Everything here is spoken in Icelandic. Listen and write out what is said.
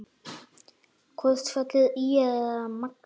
Hvort fellur ÍR eða Magni?